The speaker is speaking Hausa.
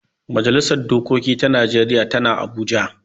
Majalisar dokoki ta najeriya tana abuja